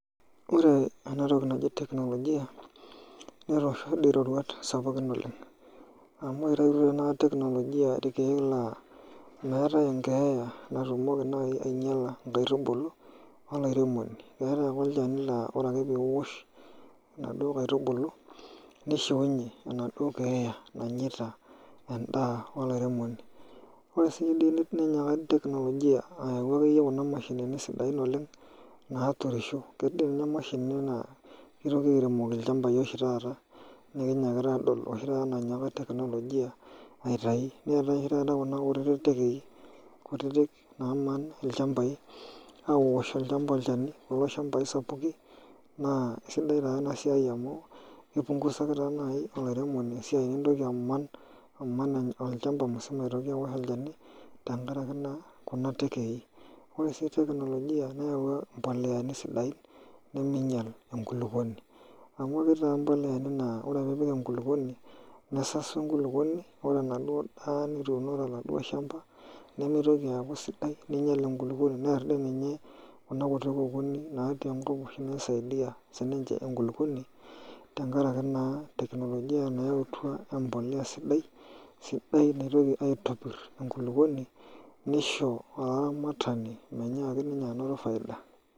Ore enatoki naji teknolojia newua roruat sapukin oleng amu ore naa taata teknolojia irkeek naa meatae enkeeya natumoki nai ainyala nkaitubulu o lairemoni. Keatae ake olchani naa ore ake piosh naduo nkaitubulu neishunye enaduo keey nanyeita endaa olairemoni. Ore sii dei neinyaaka teknojia ayau ake iyie kuna mashinini sidain oleng, naaturisho, keidim ina imaishini naa keitoki airemoki ilchambai oshi taata nikinyaakita adol oshi taata nainyaaka teknolojia aitai, neatae taata kuna kutiti ndegei kutitik naamna ilchambai aosh olchamba ilchani, kulo ilchambai sapukin naa esidai taa ena siai amu eipungusaki taata nai ilairemoni esiai nemeitoki aman, aman olchamba musima aitoki aosh olchani tengaraki naa kuna nteekei. Ore sii teknolojia neawua impoleani sidain nemeinyal nkuluponi amu ketii taata impoleani naa ore piipik enkuluponi nesasu enkuluponi, ore enaduo indaa nituno enaduo ilshamba nemeitoki aaku sidai, neinyal enkuluponi, near dei ninye kuna kutii nkokoni natii enkop neisaidia sii ninche enkuluponi tengaraki naa teknolojia naa eetua sidai, sidai naitoki aitopir enkuluponi neisho olaramatani meinyaaki ninye anyoto efaida.